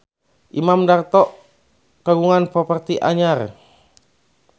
Imam Darto kagungan properti anyar